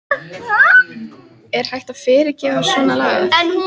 Er hægt að fyrirgefa svona lagað?